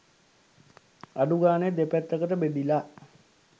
අඩු ගානේ දෙපැත්තකට බෙදිලා